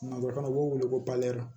Nga dɔ kɔnɔ u b'o wele ko